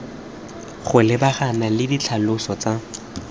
go lebagana le ditlhaloso tsa